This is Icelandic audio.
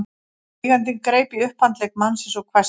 Eigandinn greip í upphandlegg mannsins og hvæsti